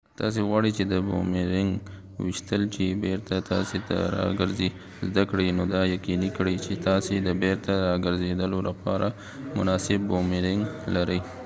که تاسې غواړئ چې د بومیرنګ ویشتل چې بیرته تاسې ته راګرځې زده کړئ نو دا یقیني کړئ چې تاسې د بیرته راګرځیدلو لپاره یو مناسب بومیرنګ لرئ